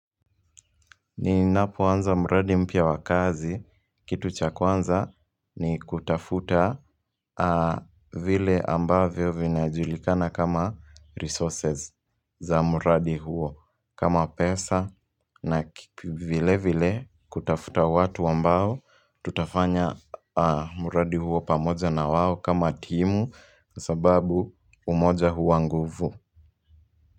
Ninapoanza muradi mpia wakazi kitu cha kuanza ni kutafuta vile ambavyo vinajulikana kama resources za muradi huo kama pesa na vile vile kutafuta watu ambao tutafanya muradi huo pamoja na wawo kama timu sababu umoja hua nguvu.